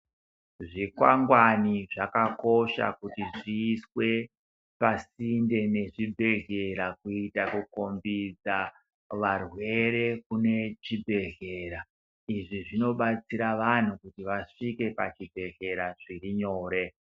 Zvikwangwani zvakakosha kuti zviiswe pasinde nechibhedhlera kuita kukombidza varwere kune chibhehlera. Izvi zvinobatsira vanhu kuti vasvike pazvibhehlera zviri nyore.